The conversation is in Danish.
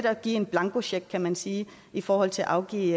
af at give en blankocheck kan man sige i forhold til at afgive